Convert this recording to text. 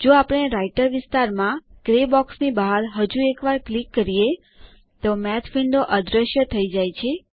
જો આપણે રાઇટર વિસ્તારમાં ગ્રે બોક્સની બહાર હજું એક વાર ક્લિક કરીએ તો માથ વિન્ડો અદૃશ્ય થઈ જાય છે